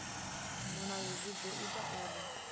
mulayo zwi ḓo ita uri